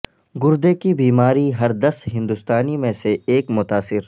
گردے کی بیما ری ہر دس ہند و ستا نی میں سے ایک متا ثر